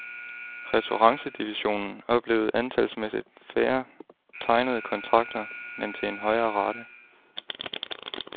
Ressurancedivisionen oplevede antalsmæssigt færre tegnede kontrakter, men til en højere rate.